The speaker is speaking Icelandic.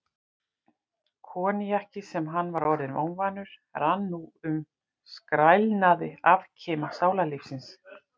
Koníakið, sem hann var orðinn óvanur, rann nú um skrælnaða afkima sálarlífsins.